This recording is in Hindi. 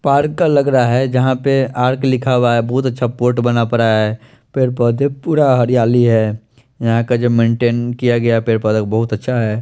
पार्क का लग रहा है जहा पे पार्क लिखा हुआ है बहोत अच्छा पोर्ट बना पड़ा है पेड़ पोधे पूरा हरियाली है यहा का जो मेंटेन किया गया पेड़ पोधो को बोत अच्छा है।